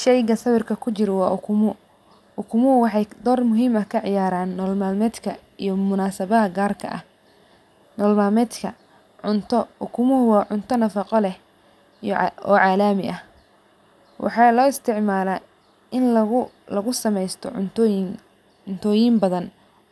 Sheyga sawirka kujiro waa ukumo, ukumoho waxee dor muhiim ah ka ciyaran nolol malmedka iyo sawabaha garka ah nolol malmedka cunto ukumoho waa cunta nafaqo leh oo calami ah waxa laisticmala in lagu samesto cuntoyin badan